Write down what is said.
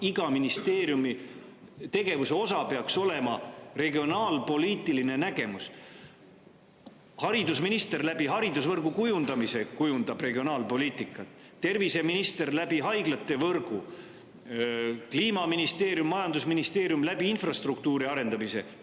Iga ministeeriumi tegevuse osa peaks olema regionaalpoliitiline nägemus: haridusminister kujundab regionaalpoliitikat haridusvõrgu, terviseminister haiglate võrgu kujundamisega, Kliimaministeerium ja majandusministeerium infrastruktuuri arendamisega.